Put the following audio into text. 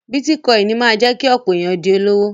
Bítíkọ́inì máa jẹ́ kí ọ̀pọ̀ èyàn di olówó.